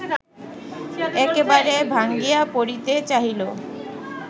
একেবারে ভাঙ্গিয়া পড়িতে চাহিল